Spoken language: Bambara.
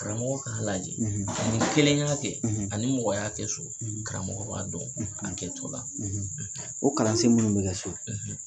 Karamɔgɔ Laji; Karamɔgɔ kelen ka kɛ; ; Ani mɔgɔya kɛ so; Karamɔgɔ b' a dɔn; ; A kɛ cogola; ; O kalansen minnu bɛ kɛ so;